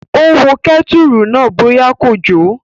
Ó wo kẹ́tùrù náà bóyá kò jò